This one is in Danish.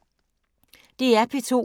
DR P2